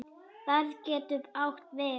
Barði getur átt við